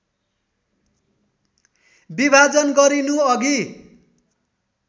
विभाजन गरिनु अघि